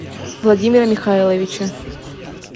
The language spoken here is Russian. владимира михайловича